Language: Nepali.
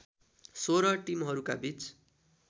१६ टिमहरूका बीच